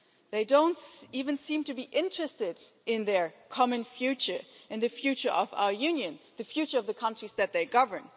They don't even seem to be interested in their common future and the future of our Union, the future of the countries that they govern.